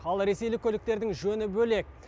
ал ресейлік көліктердің жөні бөлек